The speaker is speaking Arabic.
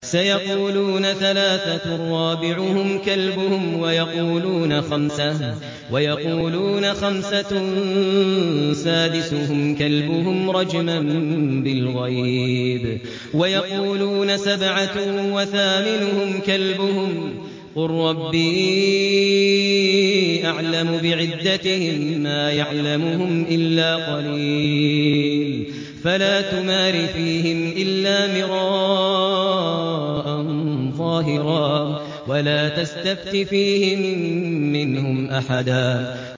سَيَقُولُونَ ثَلَاثَةٌ رَّابِعُهُمْ كَلْبُهُمْ وَيَقُولُونَ خَمْسَةٌ سَادِسُهُمْ كَلْبُهُمْ رَجْمًا بِالْغَيْبِ ۖ وَيَقُولُونَ سَبْعَةٌ وَثَامِنُهُمْ كَلْبُهُمْ ۚ قُل رَّبِّي أَعْلَمُ بِعِدَّتِهِم مَّا يَعْلَمُهُمْ إِلَّا قَلِيلٌ ۗ فَلَا تُمَارِ فِيهِمْ إِلَّا مِرَاءً ظَاهِرًا وَلَا تَسْتَفْتِ فِيهِم مِّنْهُمْ أَحَدًا